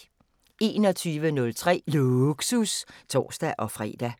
21:03: Lågsus (tor-fre)